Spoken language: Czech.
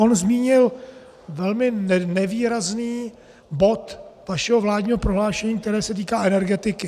On zmínil velmi nevýrazný bod vašeho vládního prohlášení, které se týká energetiky.